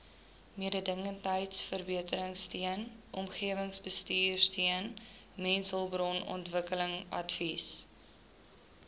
mededingendheidsverbeteringsteun omgewingsbestuursteun mensehulpbronontwikkelingsadvies